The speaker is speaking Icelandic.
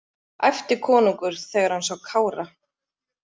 æpti konungur þegar hann sá Kára.